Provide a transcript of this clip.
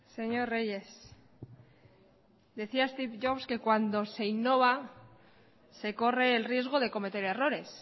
señor reyes decía steve jobs que cuando se innova se corre el riesgo de cometer errores